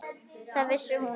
Það vissi hún vel.